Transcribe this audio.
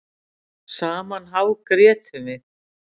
Saman hágrétum við.